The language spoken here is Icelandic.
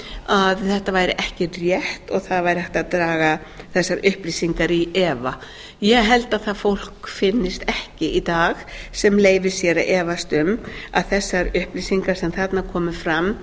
að þetta væri ekki rétt og það væri hægt að draga þessar upplýsingar í efa ég held að það fólk finnist ekki í dag sem leyfir sér að efast um að þessar upplýsingar sem þarna komu fram